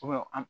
an